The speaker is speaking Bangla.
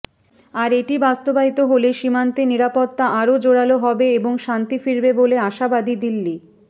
আর এটি বাস্তবায়িত হলে সীমান্তে নিরাপত্তা আরও জোরালো হবে এবং শান্তি ফিরবে বলে আশাবাদী দিল্লি